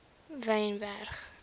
wynberg